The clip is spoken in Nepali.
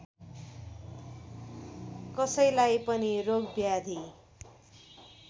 कसैलाई पनि रोगव्याधि